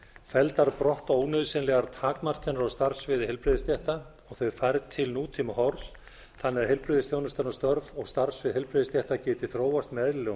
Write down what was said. felldar brott ónauðsynlegar takmarkanir á starfssviði heilbrigðisstétta og þau færð til nútímahorfs þannig að heilbrigðisþjónustan og störf og starfssvið heilbrigðisstétta geti þróast með eðlilegum